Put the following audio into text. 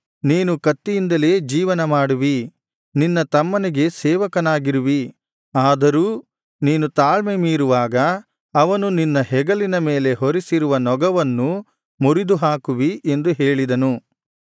ನೀನು ಕತ್ತಿಯಿಂದಲೇ ಜೀವನ ಮಾಡುವಿ ನಿನ್ನ ತಮ್ಮನಿಗೆ ಸೇವಕನಾಗಿರುವಿ ಆದರೂ ನೀನು ತಾಳ್ಮೆ ಮೀರುವಾಗ ಅವನು ನಿನ್ನ ಹೆಗಲಿನ ಮೇಲೆ ಹೊರಿಸಿರುವ ನೊಗವನ್ನು ಮುರಿದು ಹಾಕುವಿ ಎಂದು ಹೇಳಿದನು